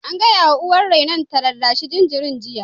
An gaya wa uwar rainon ta rarrashi jinjirin jiya!